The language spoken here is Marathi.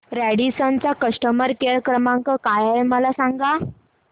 रॅडिसन चा कस्टमर केअर क्रमांक काय आहे मला सांगा